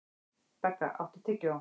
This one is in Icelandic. Begga, áttu tyggjó?